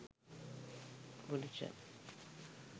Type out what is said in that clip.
buddhism